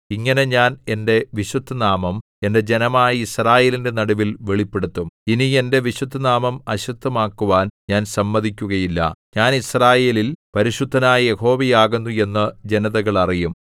ഇങ്ങനെ ഞാൻ എന്റെ വിശുദ്ധനാമം എന്റെ ജനമായ യിസ്രായേലിന്റെ നടുവിൽ വെളിപ്പെടുത്തും ഇനി എന്റെ വിശുദ്ധനാമം അശുദ്ധമാക്കുവാൻ ഞാൻ സമ്മതിക്കുകയില്ല ഞാൻ യിസ്രായേലിൽ പരിശുദ്ധനായ യഹോവയാകുന്നു എന്ന് ജനതകൾ അറിയും